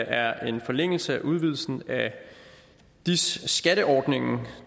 er en forlængelse af udvidelsen af dis skatteordningen